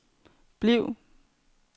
bliv